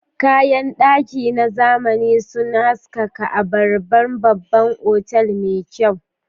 Kayan daki na zamani sun haskaka a harabar babban otal mai kyau.